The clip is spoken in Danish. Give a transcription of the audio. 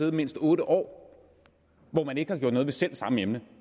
i mindst otte år hvor man ikke har gjort noget ved selv samme emne